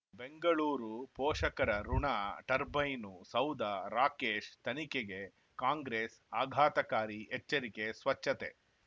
ಬೆಂಗಳೂರು ಪೋಷಕರಋಣ ಟರ್ಬೈನು ಸೌಧ ರಾಕೇಶ್ ತನಿಖೆಗೆ ಕಾಂಗ್ರೆಸ್ ಆಘಾತಕಾರಿ ಎಚ್ಚರಿಕೆ ಸ್ವಚ್ಛತೆ